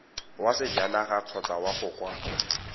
wa sejanaga kgotsa go kw